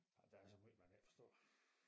Ja der er så måj man ikke forstår